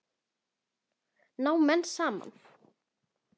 Ná menn saman?